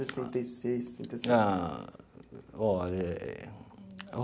Sessenta e seis sessenta e sete. Ah olha.